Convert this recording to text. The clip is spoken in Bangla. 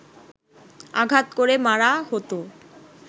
আঘাত করে মারা হতো